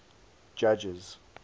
judges